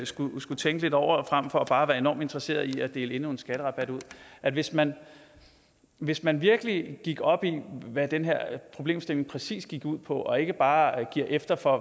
skulle skulle tænke lidt over frem for bare at være enormt interesseret i at dele endnu en skatterabat ud at hvis man hvis man virkelig gik op i hvad den her problemstilling præcis gik ud på og ikke bare gav efter for